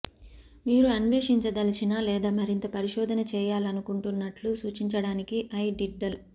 మీరు అన్వేషించదలిచిన లేదా మరింత పరిశోధన చేయాలనుకుంటున్నట్లు సూచించడానికి ఐ డిడ్డిల్